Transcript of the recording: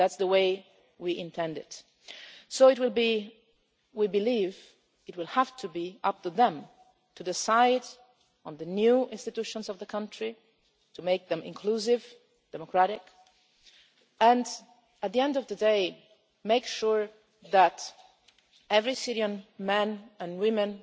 That is the way we intend it. We believe it will have to be up to them to decide on the new institutions of the country, to make them inclusive, democratic, and, at the end of the day, make sure that every Syrian